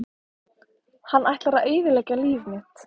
Hann ætlar að eyðileggja líf mitt!